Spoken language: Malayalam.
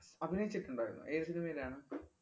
അഭിനയിച്ചിട്ടുണ്ടായിരുന്നോ? ഏതു cinema യിലാണ്?